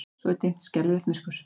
Svo er dimmt, skelfilegt myrkur.